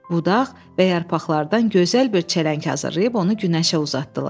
Budaq və yarpaqlardan gözəl bir çələng hazırlayıb onu günəşə uzatdılar.